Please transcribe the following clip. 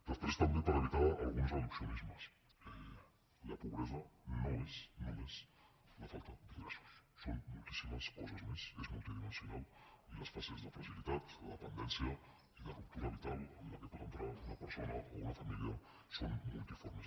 després també per evitar alguns reduccionismes la pobresa no és només la falta d’ingressos són moltíssimes coses més és multidimensional i les fases de fragilitat de dependència i de ruptura vital en què pot entrar una persona o una família són multiformes